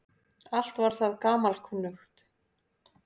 Allt var það gamalkunnugt.